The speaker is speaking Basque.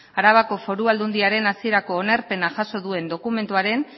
arabako foru aldundiaren hasierako onarpena jaso duen dokumentuaren